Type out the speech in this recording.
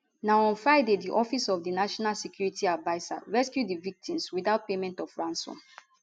na on friday di office of di national security adviser rescue di victims witout payment of ransom